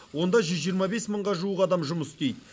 онда жүз жиырма бес мыңға жуық адам жұмыс істейді